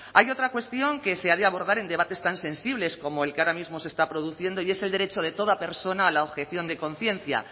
hay otra cuestión que se ha de abordar en debates tan sensibles como el que ahora mismo se está produciendo y es el derecho de toda persona a la objeción de conciencia